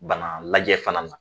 Bana lajɛ fana na